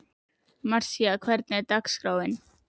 Marísa, hvernig er dagskráin?